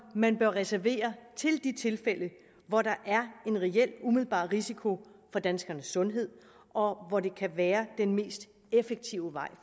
man bør reservere til de tilfælde hvor der er en reel umiddelbar risiko for danskernes sundhed og hvor det kan være den mest effektive vej